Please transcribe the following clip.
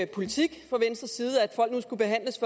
politik fra venstres side nemlig at folk nu skulle behandles